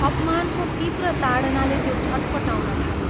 अपमानको तीव्र ताडनाले त्यो छटपटाउन थाल्यो।